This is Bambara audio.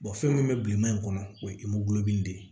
fɛn min bɛ bilenman in kɔnɔ o ye de ye